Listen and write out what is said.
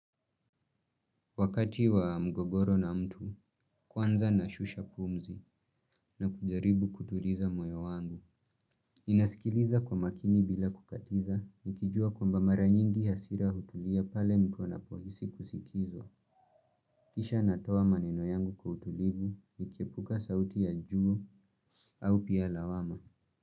Wakati wa mgogoro na mtu, kwanza nashusha pumzi na kujaribu kutuliza moyo wangu. Ninaskiliza kwa makini bila kukatiza nikijua kwamba mara nyingi hasira hutulia pale mtu anapohisi kusikizwa. Kisha natoa maneno yangu kwa utulivu, nikiepuka sauti ya juu au pia lawama.